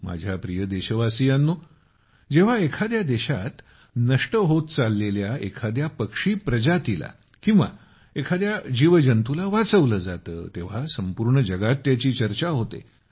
माझ्या प्रिय देशवासियांनो जेव्हा एखाद्या देशात नष्ट होत चाललेल्या एखाद्या पक्षी प्रजातीला किंवा एखाद्या जीवजंतुला वाचवलं जातं तेव्हा संपूर्ण जगात त्याची चर्चा होते